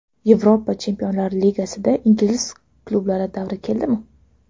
Yevropa Chempionlar Ligasida ingliz klublari davri keldimi?